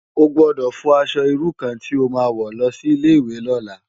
Ó gbòdò fò aṣò irú kàn ti ó má wò lòsi Ilé iwé lòlá